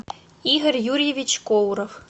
игорь юрьевич коуров